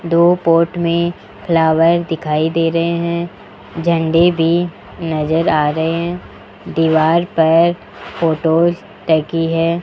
दो पोट में फ्लावर दिखाई दे रहे हैं झंडे भी नजर आ रहे हैं दीवार पर फोटोस टकी है।